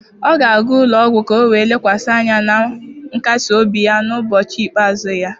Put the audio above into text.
Ọ ga-aga ụlọ ọgwụ ka o wee lekwasị anya na nkasi obi ya n'ụbọchị ikpeazụ ya.